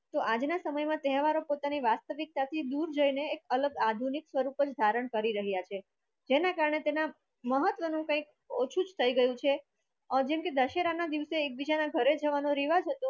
તો આજના સમયમાં તહેવારોની પોતાની વાસ્તવિકતાથી દૂર જઈને આધુનિક સ્વરૂપ ધારણ કરી રહ્યા છે જેના કારણે તેના મહત્વનું કંઈક ઓછુજ થઈ ગયું છે જેમકે દશેરાના દિવસે એકબીજાના ઘરે જવાનો રિવાજ હતો